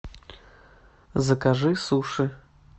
закажи суши